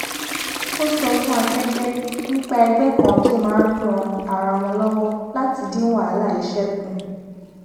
ó sọ fún akẹgbẹ nípa ẹgbẹ kan tó máa ran ara wọn lọwọ láti dín wàhálà iṣẹ kù